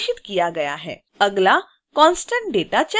अगला constant data checkbox है